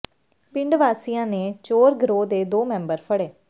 ਪਿੰਡ ਵਾਸੀਆਂ ਨੇ ਚੋਰ ਗਰੋਹ ਦੇ ਦੋ ਮੈਂਬਰ ਫੜੇ